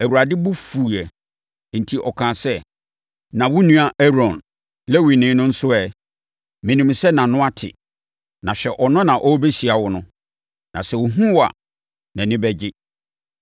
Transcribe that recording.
Awurade bo fuiɛ enti ɔkaa sɛ, “Na wo nua Aaron, Lewini no nso ɛ? Menim sɛ nʼano ate. Na hwɛ ɔno na ɔrebɛhyia wo no, na sɛ ɔhunu wo a, nʼani bɛgye.